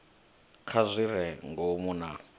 kha zwi re ngomu na